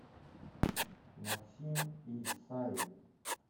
максим исаев